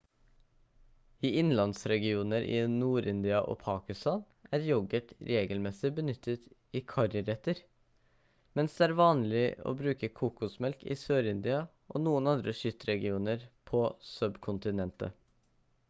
i innlandsregioner i nord-india og pakistan er yoghurt regelmessig benyttet i karriretter mens det er vanlig å bruke kokosmelk i sør-india og noen andre kystregioner på subkontinentet